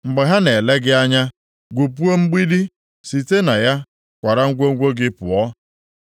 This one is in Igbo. Mgbe ha na-ele gị anya, gwupuo mgbidi, site na ya kwara ngwongwo gị pụọ.